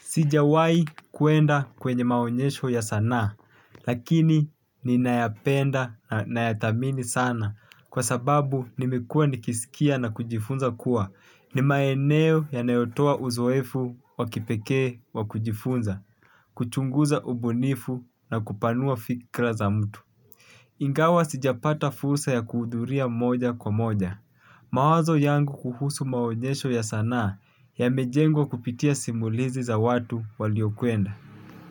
Sijawahi kuenda kwenye maonyesho ya sanaa lakini ninayapenda na ya dhamini sana kwa sababu nimekua nikiskia na kujifunza kuwa ni maeneo yanayotoa uzoefu wa kipekee wa kujifunza, kuchunguza ubunifu na kupanua fikra za mtu. Ingawa sijapata fursa ya kuhudhuria moja kwa moja. Mawazo yangu kuhusu maonyesho ya sanaa yamejengwa kupitia simulizi za watu walio kwenda.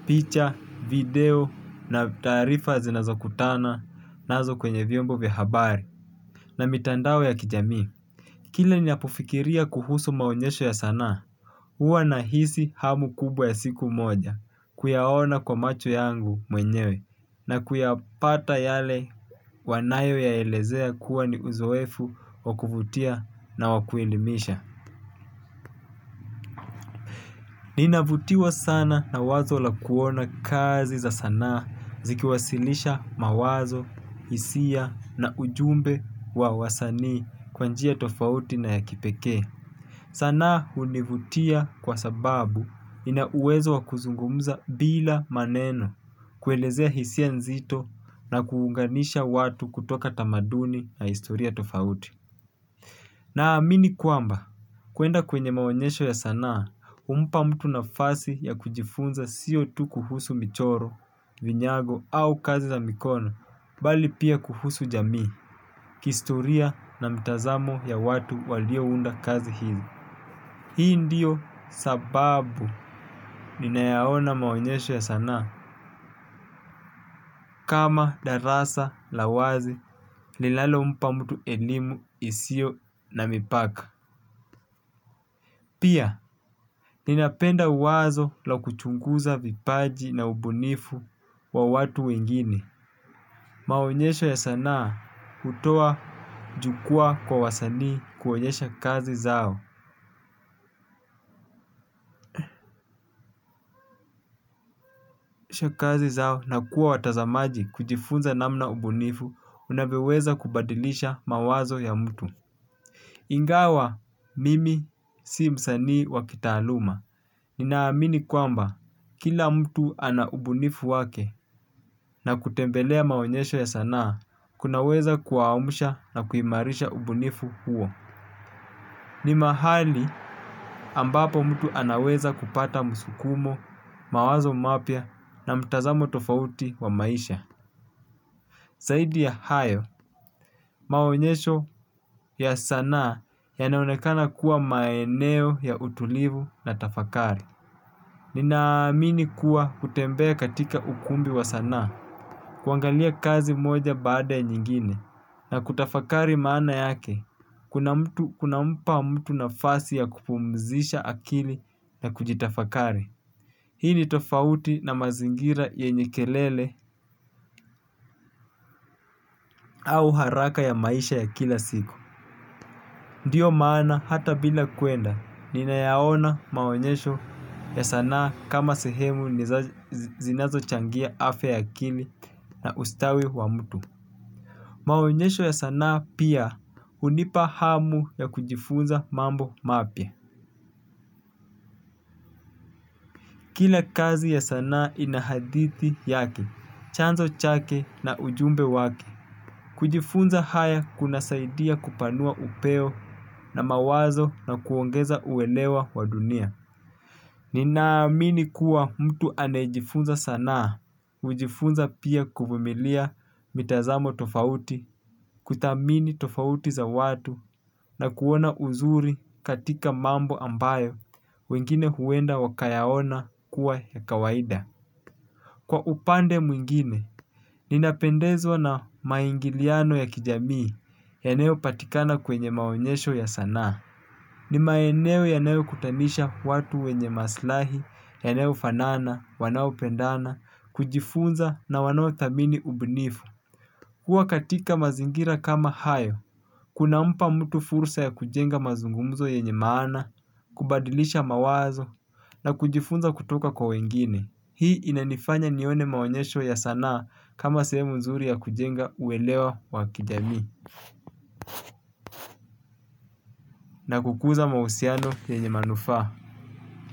Picha, video na taarifa zinazokutana nazo kwenye vyombo vya habari na mitandao ya kijami. Kile ninapofikiria kuhusu maonyesho ya sanaa huwa nahisi hamu kubwa ya siku moja kuyaona kwa macho yangu mwenyewe na kuyapata yale wanayo ya elezea kuwa ni uzoefu wa kuvutia na wa kuelimisha. Nina vutiwa sana na wazo la kuona kazi za sanaa zikiwasilisha mawazo, hisia na ujumbe wa wasani kwa njia tofauti na ya kipekee. Sanaa hunivutia kwa sababu nina uwezo wa kuzungumuza bila maneno kuelezea hisia nzito na kuunganisha watu kutoka tamaduni na historia tofauti. Na amini kuamba, kuenda kwenye maonyesho ya sanaa, umpa mtu na fasi ya kujifunza siyo tu kuhusu michoro, vinyago au kazi za mikono, bali pia kuhusu jamii, kihistoria na mitazamo ya watu walio unda kazi hizi. Hii ndiyo sababu nina yaona maonyesho ya sanaa, kama darasa la wazi linalo mpa mtu elimu isiyo na mipaka. Pia, ninapenda uwazo la kuchunguza vipaji na ubunifu wa watu wengine. Maonyesho ya sanaa hutoa jukwaa kwa wasanii kuonyesha kazi zao. Shakazi zao na kuwa watazamaji kujifunza namna ubunifu unavyoweza kubadilisha mawazo ya mtu. Ingawa, mimi si msanii wa kitaaluma. Ninaamini kwamba kila mtu ana ubunifu wake na kutembelea maonyesho ya sanaa kunaweza kuwa amsha na kuimarisha ubunifu huo. Ni mahali ambapo mtu anaweza kupata msukumo, mawazo mapya na mtazamo tofauti wa maisha zaidi ya hayo, maonyesho ya sanaa yanaonekana kuwa maeneo ya utulivu na tafakari. Nina amini kuwa kutembea katika ukumbi wa sanaa kuangalia kazi moja baada ya nyingine na kutafakari maana yake kuna mtu kuna mpa mtu nafasi ya kupumzisha akili na kujitafakari. Hii ni tofauti na mazingira yenye kelele au haraka ya maisha ya kila siku. Ndiyo maana hata bila kuenda nina yaona maonyesho ya sanaa kama sehemu zinazo changia afya ya akili na ustawi wa mtu maonyesho ya sanaa pia hunipa hamu ya kujifunza mambo mapya. Kila kazi ya sanaa ina hadithi yake. Chanzo chake na ujumbe wake kujifunza haya kuna saidia kupanua upeo na mawazo na kuongeza uelewa wa dunia. Ninaamini kuwa mtu anayejifunza sanaa kujifunza pia kuvumilia mitazamo tofauti kuthamini tofauti za watu na kuona uzuri katika mambo ambayo wengine huenda wakayaona kuwa ya kawaida. Kwa upande mwingine, ninapendezwa na maingiliano ya kijamii yanayo patikana kwenye maonyesho ya sanaa. Ni maeneo yaneyo kutamisha watu wenye maslahi, yanayo fanana, wanaopendana, kujifunza na wanaothamini ubunifu kuwa katika mazingira kama hayo kuna mpa mtu fursa ya kujenga mazungumzo yenye maana, kubadilisha mawazo na kujifunza kutoka kwa wengine. Hii inanifanya nione maonyesho ya sanaa kama sehemu nzuri ya kujenga uelewa wa kijami. Na kukuza mahusiano yenye manufaa.